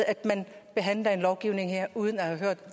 at man lovgiver her uden at have